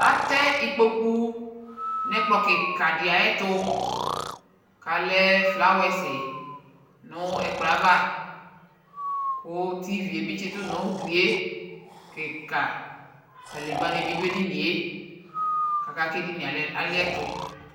atɛ ikpoku nʊ ɛkplɔ kikadɩ ayɛtʊ, kʊ alɛ sɔlɔ nʊ ɛkplɔ yɛ ava, kʊ tv be dɩ bɩ tsitʊ nʊ ugli yɛ, kadegbǝ nɩ bɩ dʊ edini yɛ, aka kʊ edini yɛ aliɛtʊ